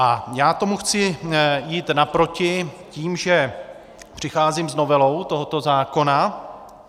A já tomu chci jít naproti tím, že přicházím s novelou tohoto zákona.